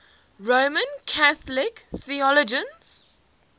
roman catholic theologians